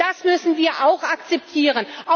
Und das müssen wir auch akzeptieren.